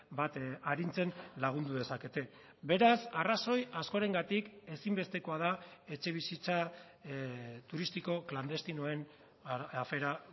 bat arintzen lagundu dezakete beraz arrazoi askorengatik ezinbestekoa da etxebizitza turistiko klandestinoen afera